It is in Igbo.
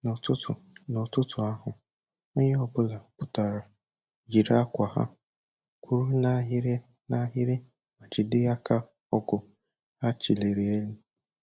N'ụtụtụ N'ụtụtụ ahụ, onye ọbụla pụtara, yiri akwa ha, kwụrụ n'ahịrị n'ahịrị ma jide aka ọgụ ha cheliri n'elu